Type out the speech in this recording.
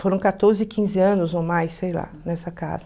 Foram catorze, quinze anos ou mais, sei lá, nessa casa.